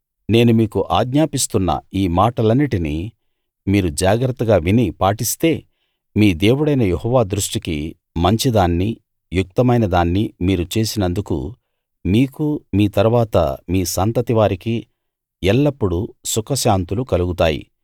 నేను మీకు ఆజ్ఞాపిస్తున్న ఈ మాటలన్నిటినీ మీరు జాగ్రత్తగా విని పాటిస్తే మీ దేవుడైన యెహోవా దృష్టికి మంచిదాన్నీ యుక్తమైనదాన్నీ మీరు చేసినందుకు మీకు మీ తరువాత మీ సంతతి వారికి ఎల్లప్పుడూ సుఖశాంతులు కలుగుతాయి